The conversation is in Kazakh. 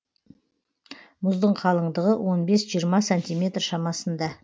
мұздың қалыңдығы он бес жиырма сантиметр шамасында